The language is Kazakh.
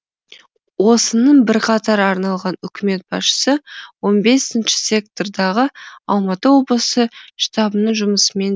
осының бірқатар арналған үкімет басшысы он бесінші сектордағы алматы облысы штабының жұмысымен